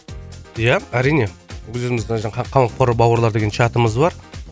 ия әрине біз өзіміз мына жерде қамқор бауырлар деген чатымыз бар